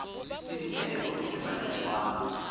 le dipehelo le maemo wa